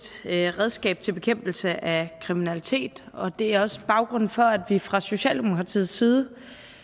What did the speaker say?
redskab til bekæmpelse af kriminalitet og det er også baggrunden for at vi fra socialdemokratiets side